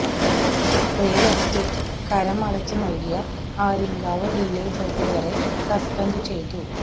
പ്രിയ എസ്റ്റേറ്റിന് കരം അടച്ച് നൽകിയ ആര്യങ്കാവ് വില്ലേജ് ഓഫീസറെ സസ്പെന്റ് ചെയ്തു